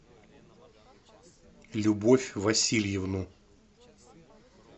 любовь васильевну